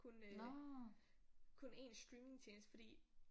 Kun øh kun én streamingtjeneste fordi